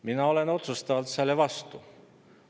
Mina olen otsustavalt selle vastu.